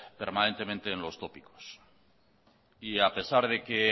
permanentemente en los tópicos y a pesar de que